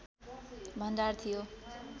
भण्डार थियो